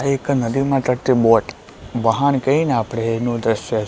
આ એક નદીમાં તરતી બોટ વહાણ કંઈએ ને આપણે એનુ દ્રશ્ય--